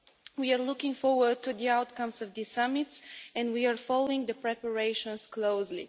We are looking forward to the outcomes of this summit and we are following the preparations closely.